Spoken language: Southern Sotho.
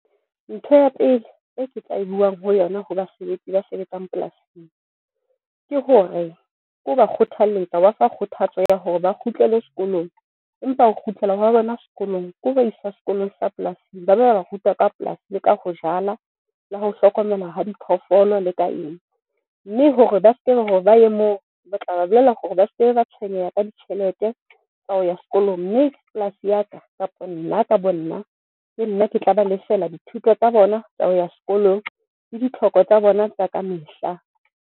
Ntho ya pele e ke tla e buang ho yona. Ho basebetsi ba sebetsang polasing ke hore ke ho ba kgothalletsa wa fa kgothatso ya hore ba kgutlele sekolong empa ho kgutlela wa bona sekolong ke ho ba isa skolong sa polasing, ba lo ba ruta ka polasi le ka ho jala le ho hlokomela ha diphoofolo le ka eng. Mme hore ba hore ba ye moo re tla ba bolella hore ba seke ba tshwenyeha ka ditjhelete tsa ho ya sekolong, Mme polasi ya ka kapa nna ka bo nna. Ke nna ke tla ba lefela dithuto tsa bona tsa ho ya sekolong le ditlhoko tsa bona tsa ka mehla.